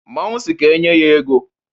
Mmanwụ sị ka enye ya ego.